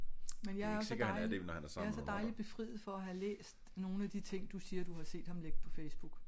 Men jeg er jo så dejlig jeg er så dejlig befriet for at have læst nogle af de ting du siger du har set ham lægge på Facebook